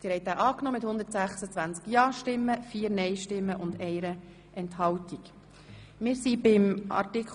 Zu Artikel 21a (neu) liegt ein Antrag der SVP vor.